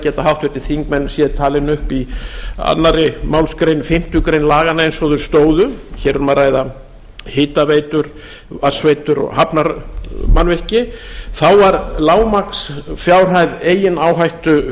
geta háttvirtir þingmenn séð talin upp í annarri málsgrein fimmtu grein laganna eins og þau stóðu hér er um að ræða hitaveitur vatnsveitur og hafnarmannvirki þá var lágmarksfjárhæð eigin áhættu